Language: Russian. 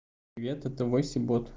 нет это вася бот